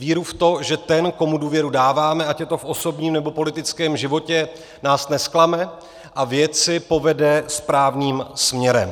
Víru v to, že ten, komu důvěru dáváme, ať je to v osobním, nebo politickém životě, nás nezklame a věci povede správným směrem.